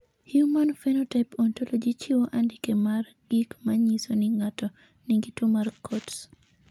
Human Phenotype Ontology chiwo andike mar gik ma nyiso ni ng'ato nigi tuwo mar Coats.